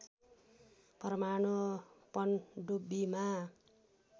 परमाणु पनडुब्बीमा